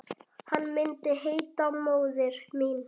Hann myndi heita Móðir mín.